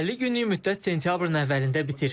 50 günlük müddət sentyabrın əvvəlində bitir.